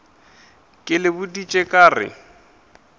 ke le boditše ka re